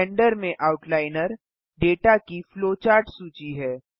blender में outliner data की flowchart सूची है